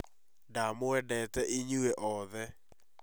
Ndamwendete inyuĩ othe